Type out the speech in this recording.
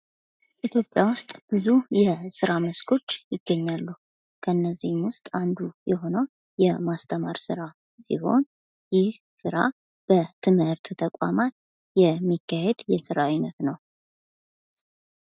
ኢትፖጵያ ውስጥ ብዙ የስራ መስኮች ይገኛሉ ከነዚህም ውስጥ አንዱ የሆነው የማስተማር ስራ ሲሆን ይህ ስራ በትምህርት ተቋማት የሚካሄድ የስራ አይነት ነው።